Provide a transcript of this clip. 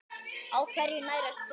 Á hverju nærast tré?